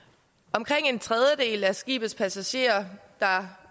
omkring en tredjedel af de skibspassagerer der